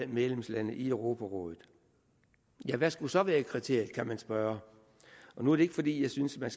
medlemslande i europarådet hvad skulle så være kriteriet kan man spørge nu er det ikke fordi jeg synes man